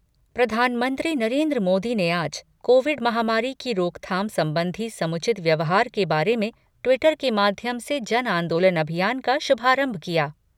प्रधानमंत्री नरेन्द्र मोदी ने आज कोविड महामारी की रोकथाम संबंधी समुचित व्यवहार के बारे में ट्वीटर के माध्यम से जन आंदोलन अभियान का शुभारंभ किया।